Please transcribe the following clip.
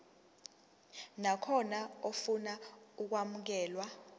nakhona ofuna ukwamukelwa